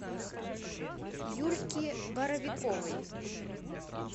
юльки боровиковой